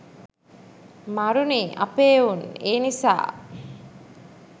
මරුනේ අපේ එවුන්.ඒ නිසා